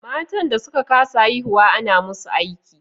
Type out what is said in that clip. Matan da suka ka sa haihuwa ana musu aiki